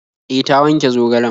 E, ta wanke zogalen.